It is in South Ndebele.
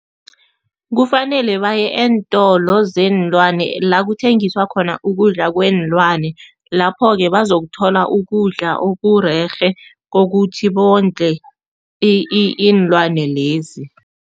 Kufanele baye eentolo zeenlwane la kuthengiswa khona ukudla kweenlwane, lapho-ke bazokuthola ukudla okurerhe kokuthi bondle iinlwane lezi.